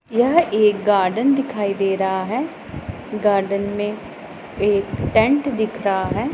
यह एक गार्डन दिखाई दे रहा है गार्डन में एक टेंट दिख रहा है।